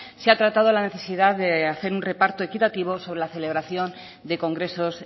se ha tratado la necesidad de hacer un reparto equitativo sobre la celebración de congresos